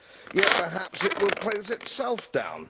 Yet perhaps it will close itself down.